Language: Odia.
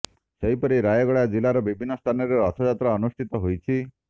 ସେହିପରି ରାୟଗଡ଼ା ଜିଲ୍ଲାର ବିଭିନ୍ନ ସ୍ଥାନରେ ରଥଯାତ୍ରା ଅନୁଷ୍ଠିତ ହୋଇଛି